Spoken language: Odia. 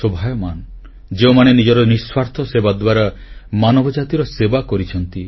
ମହିମାମଣ୍ଡିତ ଯେଉଁମାନେ ନିଜର ନିଃସ୍ୱାର୍ଥ ସେବା ଦ୍ୱାରା ମାନବ ଜାତିର ସେବା କରିଛନ୍ତି